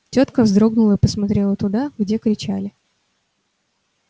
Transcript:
тётка вздрогнула и посмотрела туда где кричали